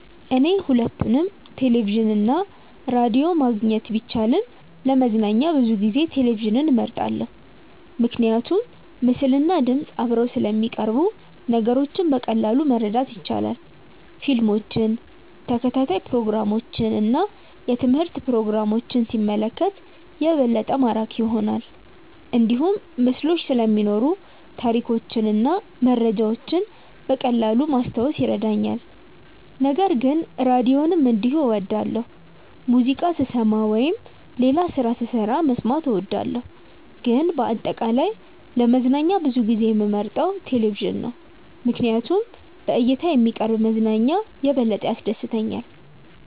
እኔ ሁለቱንም ቴሌቪዥን እና ራዲዮ ማግኘት ቢቻልም ለመዝናኛ ብዙ ጊዜ ቴሌቪዥንን እመርጣለሁ። ምክንያቱም ምስልና ድምፅ አብረው ስለሚቀርቡ ነገሮችን በቀላሉ ማረዳት ይቻላል። ፊልሞችን፣ ተከታታይ ፕሮግራሞችን እና የትምህርት ፕሮግራሞችን ሲመለከት የበለጠ ማራኪ ይሆናል። እንዲሁም ምስሎች ስለሚኖሩ ታሪኮችን እና መረጃዎችን በቀላሉ ማስታወስ ይረዳኛል። ነገር ግን ራዲዮንም እንዲሁ እወዳለሁ፣ ሙዚቃ ስሰማ ወይም ሌላ ስራ ስሰራ መስማት እወዳለሁ። ግን በአጠቃላይ ለመዝናኛ ብዙ ጊዜ የምመርጠው ቴሌቪዥን ነው ምክንያቱም በእይታ የሚቀርብ መዝናኛ የበለጠ ያስደስተኛል።